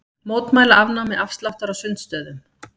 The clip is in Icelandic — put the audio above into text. Mótmæla afnámi afsláttar á sundstöðum